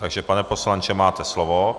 Takže pane poslanče, máte slovo.